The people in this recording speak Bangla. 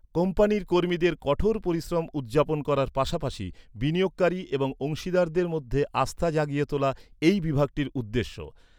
কোম্পানির কর্মীদের কঠোর পরিশ্রম উদযাপন করার পাশাপাশি বিনিয়োগকারী এবং অংশীদারদের মধ্যে আস্থা জাগিয়ে তোলা এই বিভাগটির উদ্দেশ্য।